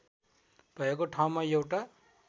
भएको ठाउँमा एउटा